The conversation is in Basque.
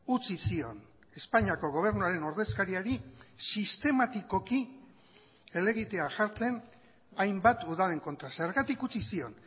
utzi zion espainiako gobernuaren ordezkariari sistematikoki helegitea jartzen hainbat udalen kontra zergatik utzi zion